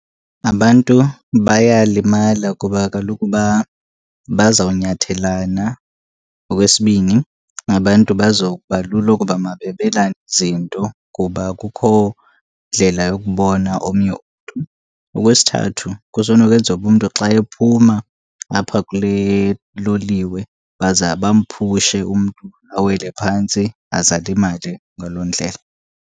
Abantu bayalimala kuba kaloku bazawunyathelana. Okwesibini, abantu bazokuba lula ukuba mababelane izinto kuba akukho ndlela yokubona omnye umntu. Okwesithathu, kusenokwenzeka uba umntu xa ephuma apha kule loliwe baza bamphushe umntu awele phantsi aze alimale ngaloo ndlela.